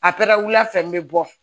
A pɛrɛn fɛn be bɔ